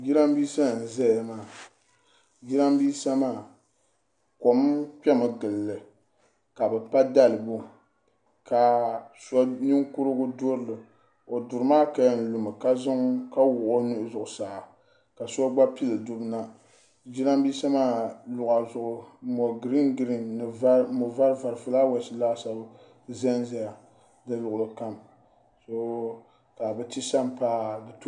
Giramisa n zaya maa giramisa maa kom kpɛmi n gili li ka bi pa dalibo ka nimkurigu durili o duri maa ka yɛn lumi ka wuɣi o nuhi zuɣu saa ka so gba pili dubu nagiramisa maa luɣa zuɣu mo girii girii mo vari fulaawasi laasabu zan zaya di luɣuli kam ka bi ti sompaa.